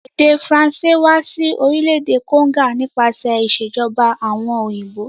Èdè faracé wa si orílẹ̀dè Congo nípasẹ̀ ìsèjoba àwon òyìnbó